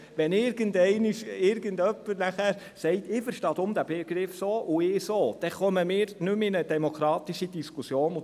Wenn irgendeinmal jemand sagt, er verstünde den Begriff so, und der andere verstehe ihn anders, dann entsteht keine demokratische Diskussion mehr.